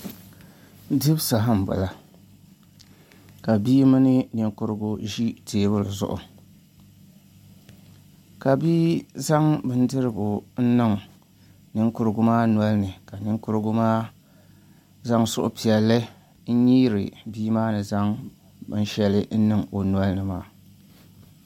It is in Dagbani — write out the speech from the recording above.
Dibu saha n bala ka bia mini ninkurigu ʒi teebuli zuɣu ka bia zaŋ bindirigu n niŋ ninkurigu maa nolini ka ninkurigu maa zaŋ suhupiɛlli n nyiiri bia maa ni zaŋ binshɛli n niŋ o nolini maa